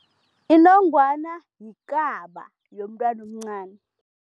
Inongwana yikaba yomntwana omncani.